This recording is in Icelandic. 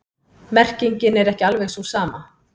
Merkingin er ekki alveg sú sama.